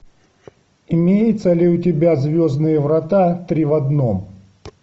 имеется ли у тебя звездные врата три в одном